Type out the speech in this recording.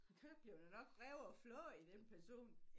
Der blev da nok revet og flået i den person